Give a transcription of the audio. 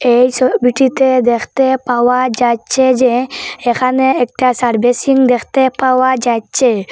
এই ছবিটিতে দেখতে পাওয়া যাচ্ছে যে এখানে একটা সার্ভিসিং দেখতে পাওয়া যাচ্ছে।